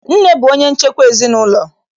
Nne bụ onye nchekwa ezinaụlọ.